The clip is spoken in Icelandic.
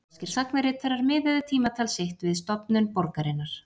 Rómverskir sagnaritarar miðuðu tímatal sitt við stofnun borgarinnar.